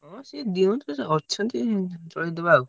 ସିଏ ଦିଅନ୍ତୁ କିଛି ଅଛନ୍ତି ଚଳେଇଦବା ଆଉ।